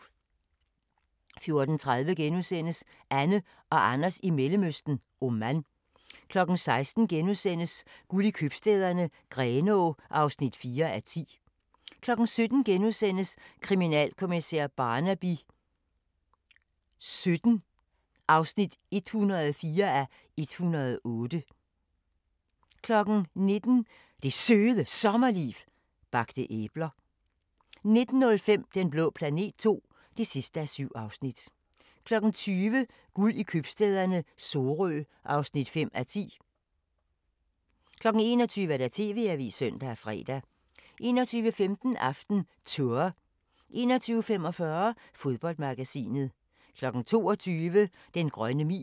14:30: Anne og Anders i Mellemøsten: Oman * 16:00: Guld i Købstæderne - Grenaa (4:10)* 17:00: Kriminalkommissær Barnaby XVII (104:108)* 19:00: Det Søde Sommerliv – Bagte æbler 19:05: Den blå planet II (7:7) 20:00: Guld i købstæderne - Sorø (5:10) 21:00: TV-avisen (søn og fre) 21:15: AftenTour 21:45: Fodboldmagasinet 22:00: Den grønne mil